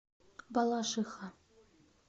балашиха